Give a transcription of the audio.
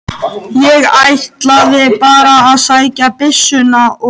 Ég ætlaði bara að sækja byssuna og.